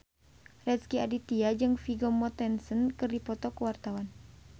Rezky Aditya jeung Vigo Mortensen keur dipoto ku wartawan